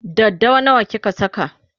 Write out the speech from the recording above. daddawa nawa kika Saka?